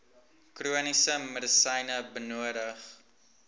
chroniese medisyne benodig